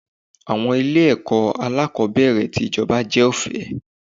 Àwọn ilé ẹ̀kọ́ alákòbẹ̀rẹ̀ tì ijoba jẹ́ ọ̀fẹ́.